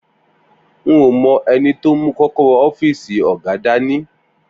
N ò mo̩ e̩ni tó mú kó̩kóró̩ ó̩fíìsì ò̩gá dání